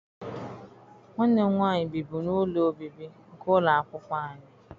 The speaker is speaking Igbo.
Nwanne m nwaanyị bibu n'ụlọ obibi nke ụlọ akwụkwọ anyị.